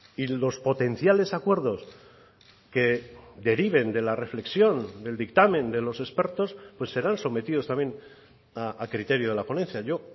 y los potenciales acuerdos que deriven de la reflexión del dictamen de los expertos pues serán sometidos también a criterio de la ponencia yo